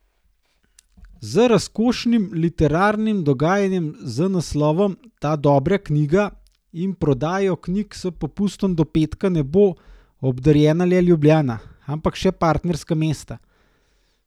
Z razkošnim literarnim dogajanjem z naslovom Ta dobra knjiga in prodajo knjig s popustom do petka ne bo obdarjena le Ljubljana, ampak še partnerska mesta.